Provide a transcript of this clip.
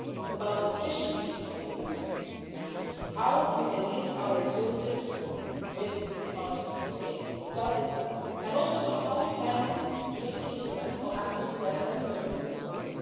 It is about the efficiency of the investments, namely how we can use our resources with economies of scale that is the point and also how we can use the instruments for acting together as a Union in the world.